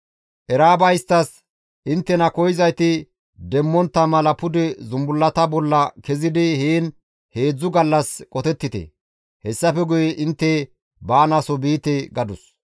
Era7aaba isttas, «Inttena koyzayti demmontta mala pude zumbullata bolla kezidi heen heedzdzu gallas qotettite; hessafe guye intte baanaaso biite» gadus.